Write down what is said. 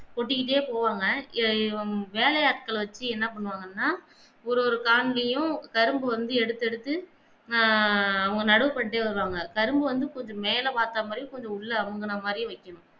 கொட்டிக்கிட்டே போவாங்க எர் வேலயாட்கள வெச்சி என்ன பண்ணுவாங்கன்னா ஒரு ஒரு காண்லயும் கரும்ப வந்து எடுத்து எடுத்து ஆஹ் நடு பட்டே இருகாங்க கரும்ப வந்து கொஞ்சம் மேல பார்த்த மாதியும் கொஞ்சம் உள்ள அமுங்கின மாதி வெக்கணும்